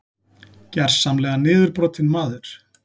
Gersamlega niðurbrotinn maður.